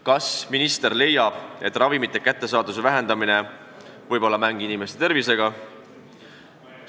Kas minister leiab, et ravimite kättesaadavuse vähendamine võib olla mäng inimeste tervisega?